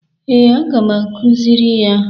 Ee, aga m akụzịrị ya.